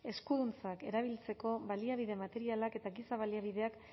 eskuduntzak erabiltzeko baliabide materialak eta giza baliabideak